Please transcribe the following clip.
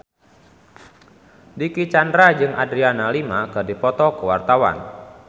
Dicky Chandra jeung Adriana Lima keur dipoto ku wartawan